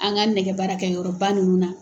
An ka nɛgɛ baara kɛ yɔrɔba ninnu na.